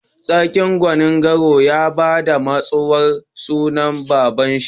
Sarkin Gonin-gora ya ba ma katsuwan sunan baba'n shi.